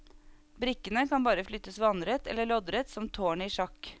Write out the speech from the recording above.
Brikkene kan bare flyttes vannrett eller loddrett som tårnet i sjakk.